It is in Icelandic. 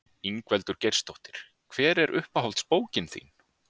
Ingveldur Geirsdóttir: Hver er uppáhalds bókin þín?